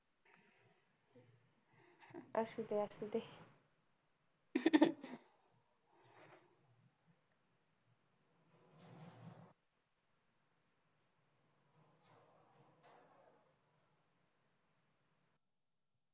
असू दे असू दे